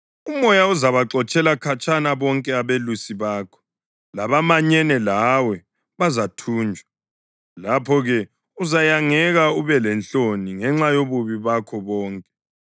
Umoya uzabaxotshela khatshana bonke abelusi bakho, labamanyene lawe bazathunjwa. Lapho-ke uzayangeka ube lenhloni ngenxa yobubi bakho bonke.